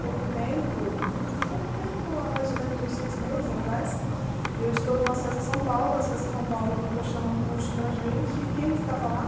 Pouco tempo, pouco tempo há mais ou menos uns seis meses atrás, eu estou no Acessa São Paulo, o Acessa São Paulo proporcionou um curso para a gente, e quem estava lá?